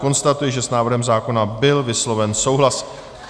Konstatuji, že s návrhem zákona byl vysloven souhlas.